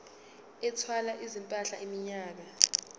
ethwala izimpahla iminyaka